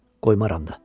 Qoymaram da.